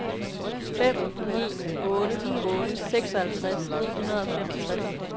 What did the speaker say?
fem ni otte otte seksoghalvtreds ni hundrede og femogtres